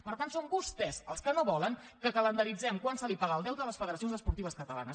per tant són vostès els que no volen que calendaritzem quan se li paga el deute a les federaci·ons esportives catalanes